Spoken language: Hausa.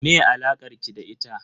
Me alakar ki da ita?